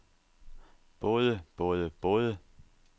både både både